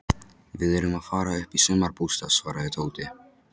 Við erum að fara upp í sumarbústað svaraði Tóti.